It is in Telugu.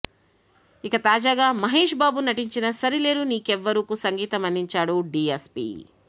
ఇక తాజాగా మహేష్ బాబు నటించిన సరిలేరు నీకెవ్వరుకు సంగీతం అందించాడు డీఎస్పీ